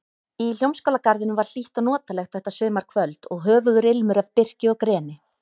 Í Hljómskálagarðinum var hlýtt og notalegt þetta sumarkvöld og höfugur ilmur af birki og greni.